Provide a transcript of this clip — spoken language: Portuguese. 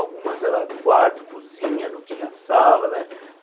Algumas era quarto, cozinha, não tinha sala, né?